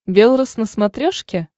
белрос на смотрешке